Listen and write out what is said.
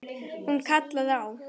Hún kallaði á